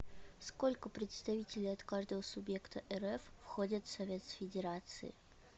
сколько представителей от каждого субъекта рф входят в совет федерации